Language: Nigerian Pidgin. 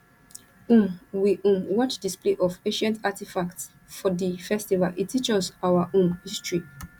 um we um watch display of ancient artifacts for di festival e teach us our um history